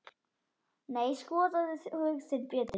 Nei, skoðaðu hug þinn betur.